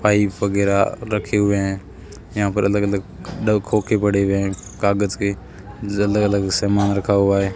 Pipe वगैरा रखे हुए हैं यहां पर अलग अलग खोके पड़े हुए हैं कागज के जो अलग अलग सामान रखा हुआ है।